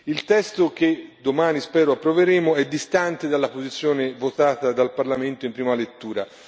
Il testo che domani, spero, approveremo è distanze dalla posizione votata dal Parlamento in prima lettura.